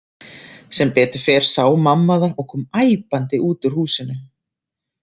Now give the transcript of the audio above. Sem betur fer sá mamma það og kom æpandi út úr húsinu.